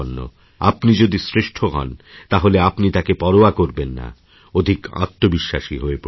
আপনি যদি শ্রেষ্ঠতর হন তাহলে আপনি তাকে পরোয়া করবেন না অধিক আত্মবিশ্বাসী হয়ে পড়বেন